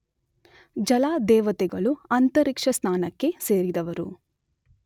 ಜಲದೇವತೆಗಳೂ ಅಂತರಿಕ್ಷಸ್ಥಾನಕ್ಕೆ ಸೇರಿದವರು.